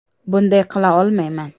Bunday qila olmayman.